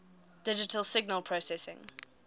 digital signal processing